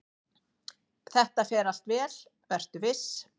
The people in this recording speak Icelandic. """Þetta fer allt vel, vertu viss!"""